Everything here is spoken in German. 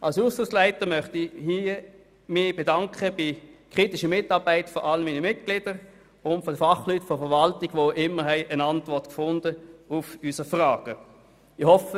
Als Ausschussleiter möchte ich hier den Kommissionsmitgliedern für die kritische Mitarbeit danken, ebenso den Fachleuten der Verwaltung, die immer eine Antwort auf unsere Fragen fanden.